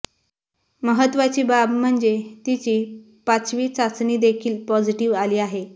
महत्त्वाची बाब म्हणजे तिची पाचवी चाचणी देखील पॉझिटिव्ह आली आहे